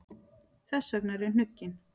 Þess vegna er ég hnugginn.